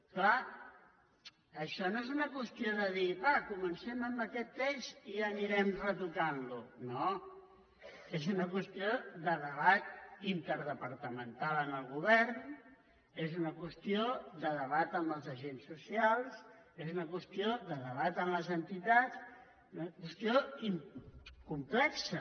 és clar això no és una qüestió de dir va comencem amb aquest text i ja anirem retocant lo no és una qüestió de debat interdepartamental en el govern és una qüestió de debat amb els agents socials és una qüestió de debat amb les entitats és una qüestió complexa